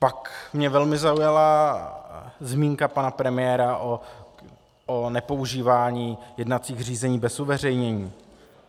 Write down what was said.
Pak mě velmi zaujala zmínka pana premiéra o nepoužívání jednacích řízení bez uveřejnění.